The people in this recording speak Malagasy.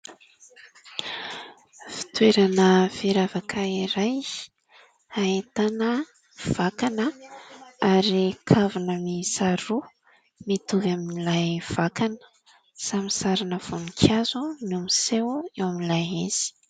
Fitoerana firavaka iray ahitana vakana ary kavina miisa roa mitovy amin'ilay vakana. Samy sarina voninkazo no miseho eo amin'ilay izy.